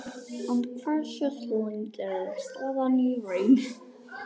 En hversu slæm er staðan í raun?